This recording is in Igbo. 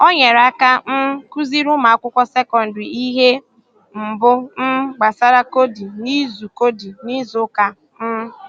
Ọ nyerè aka um kụ̀zìrí ụmụ̀akwụkwọ sekọndrị ihe mbù um gbasàrà kọdì n’izu kọdì n’izu ụka. um